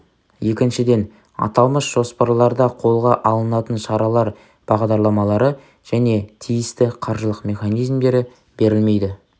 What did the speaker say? екіншіден аталмыш жоспарларда қолға алынатын шаралар бағдарламалары және тиісті қаржылық механизмдері берілмейді